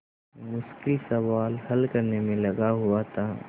मुश्किल सवाल हल करने में लगा हुआ था